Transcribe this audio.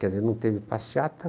Quer dizer, não teve passeata.